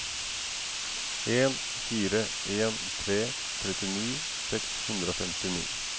en fire en tre trettini seks hundre og femtini